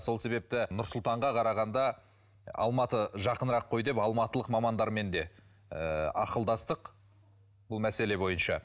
сол себепті нұр сұлтанға қарағанда алматы жақынырақ қой деп алматылық мамандармен де ыыы ақылдастық бұл мәселе бойынша